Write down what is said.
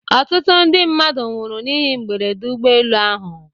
Ọtụtụ ndị mmadụ nwụrụ n'ihe mberede ụgbọelu ahụ.